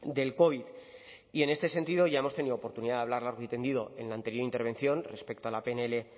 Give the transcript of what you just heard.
del covid y en este sentido ya hemos tenido oportunidad de hablar largo y tendido en la anterior intervención respecto a la pnl